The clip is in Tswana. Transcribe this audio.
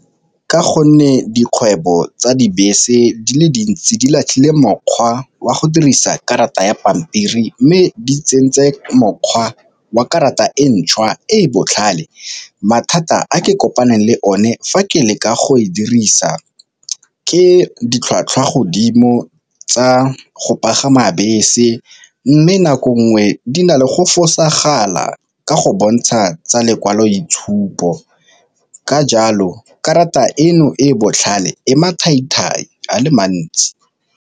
Ka gonne dikgwebo tsa dibese di le dintsi di latlhile mokgwa wa go dirisa karata ya pampiri, mme di tsentse mokgwa wa karata e ntšhwa e e botlhale mathata a ke kopaneng le one fa ke leka go e dirisa ke ditlhwatlhwa godimo tsa go pagama bese, mme nako ngwe di na le go fosagale ka ka go bontsha tsa lekwaloitshupo ka jalo karata eno e e botlhale e mathai-thai a le mantsi.